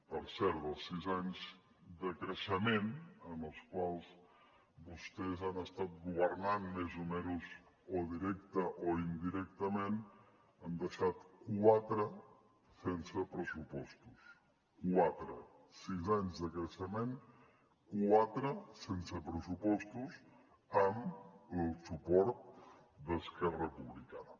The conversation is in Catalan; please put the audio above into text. per cert dels sis anys de creixement en els quals vostès han estat governant més o menys o directament o indirectament n’han deixat quatre sense pressupostos quatre sis anys de creixement quatre sense pressupostos amb el suport d’esquerra republicana